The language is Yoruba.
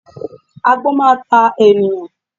Agbón máa ta ènìyàn